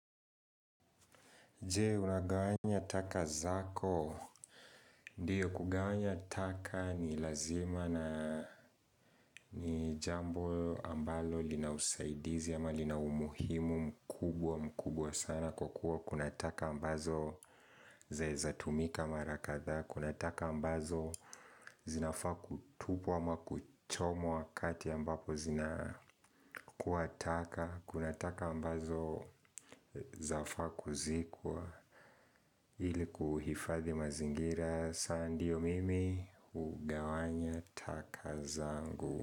Je, unagawanya taka zako? Ndiyo kugawanya taka ni lazima na ni jambo ambalo lina usaidizi ama lina umuhimu mkubwa mkubwa sana kwa kuwa kuna taka ambazo zinaweza tumika mara kadhaa, kuna taka ambazo zinafaa kutupwa ama kuchomwa wakati ambapo zinakuwa taka, kuna taka ambazo zinafaa kuzikwa ili kuhifadhi mazingira. Sasa ndio mimi hugawanya taka zangu.